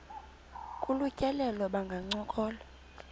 kolu tyelelo bangancokola